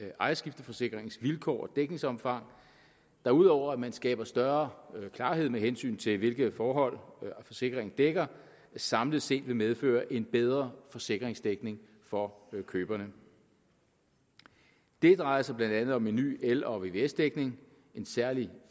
ejerskifteforsikringens vilkår og dækningsomfang der ud over at man skaber større klarhed med hensyn til hvilke forhold forsikringen dækker samlet set vil medføre en bedre forsikringsdækning for køberne det drejer sig blandt andet om en ny el og vvs dækning en særlig